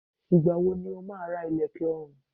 Ìgbà wo ni o máa ra ilẹ̀kè ọrùn?